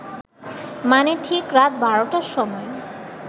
মানে ঠিক রাত বারটার সময়